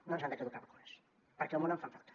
no ens han de caducar vacunes perquè al món en fan falta